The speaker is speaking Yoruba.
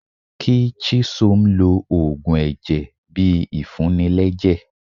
kí chisom lò òògùn ẹjẹ bí ìfuní lẹjẹ